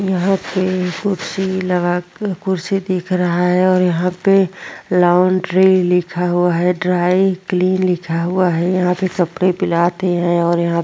यहाँ पे कुर्सी लगा के कुर्सी दिख रहा है और यहाँ पे लॉन्ड्री लिखा हुआ है और यहाँ पे ड्राई क्लीन लिखा हुआ है यहाँ पे कपड़े भी लाते है और यहाँ--